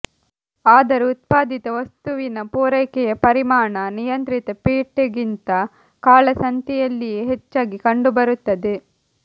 ಆದರೆ ಉತ್ಪಾದಿತ ವಸ್ತುವಿನ ಪೂರೈಕೆಯ ಪರಿಮಾಣ ನಿಯಂತ್ರಿತ ಪೇಟೆಗಿಂತ ಕಾಳಸಂತೆಯಲ್ಲಿಯೇ ಹೆಚ್ಚಾಗಿ ಕಂಡುಬರುತ್ತದೆ